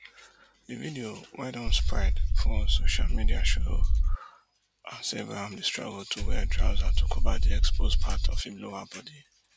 di video wey don spread for social media show as abraham dey struggle to wear trouser to cover di exposed part of im lower body